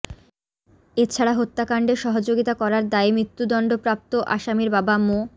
এছাড়া হত্যাকাণ্ডে সহযোগিতা করার দায়ে মৃত্যুদণ্ডপ্রাপ্ত আসামির বাবা মো